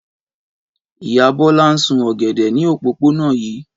Ìyá Bọ́lá ń sún ọ̀gẹ̀dẹ̀ ní òpópónà yìí.